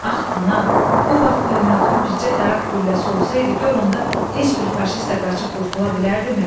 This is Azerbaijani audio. Ax, ana, bu vaxt pulemyotun bircə daraq gülləsi olsaydı, gör onda heç bir faşist də qaçıb qurtula bilərdimi?